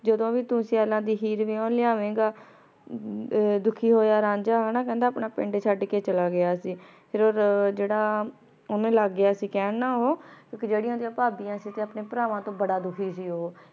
ਜਦੋਂ ਵੀ ਤੂ ਸਿਯਾਲਾਂ ਦੀ ਹੀਰ ਵਿਯਨ ਲਿਆਵੇਂ ਗਾ ਦੁਖੀ ਹੋਯਾ ਰਾਂਝਾ ਊ ਨਾ ਕਹੰਦਾ ਆਪਣਾ ਪਿੰਡ ਚੜ ਕੇ ਚਲਾ ਗਯਾ ਸੀ ਫੇਰ ਜੇਰਾ ਓਹਨੁ ਲਾਗ ਗਯਾ ਸੀ ਕਹਨ ਨਾ ਊ ਰਾਂਝੇ ਡਿਯਨ ਜੇਰਿਯਾਂ ਭਾਭਿਯਾਂ ਸੀ ਅਪਨੇ ਪ੍ਰਵਾਨ ਤੋਂ ਬਾਰਾ ਦੁਖੀ ਸੀ ਊ